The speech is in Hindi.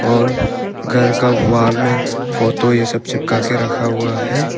और घर के वॉल में फोटो ये सब चिपका के रखा हुआ है।